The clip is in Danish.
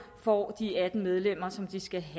får de atten medlemmer som de skal have